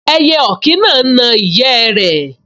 Ẹyẹ ọ̀kín náà n na ìyẹ́ rẹ̀